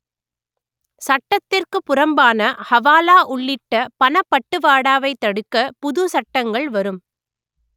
சட்டத்திற்கு புறம்பான ஹவாலா உள்ளிட்ட பணப்பட்டுவாடாவை தடுக்க புது சட்டங்கள் வரும்